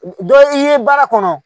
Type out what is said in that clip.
Dɔ i ye baara kɔnɔ